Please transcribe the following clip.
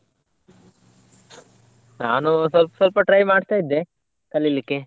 ನಾನು ಸ್ವಲ್ಪ ಸ್ವಲ್ಪ try ಮಾಡ್ತಾ ಇದ್ದೆ ಕಲಿಲಿಕ್ಕೆ.